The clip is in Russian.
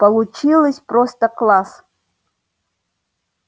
получилось просто класс